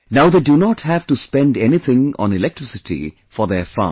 Now they do not have to spend anything on electricity for their farm